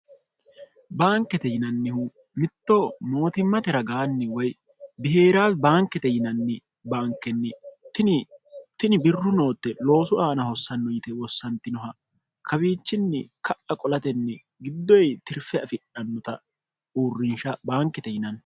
baankete yinannihu mittoo mootimmatera gaanni woy bihee'raal baankete yinanni baankenni itini birru nootte loosu aana hossanno yite wossantinoha kawiichinni ka'a qolatenni giddoyi tirfe afidhannota uurrinsha baankete yinanni